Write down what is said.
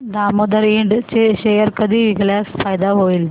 दामोदर इंड चे शेअर कधी विकल्यास फायदा होईल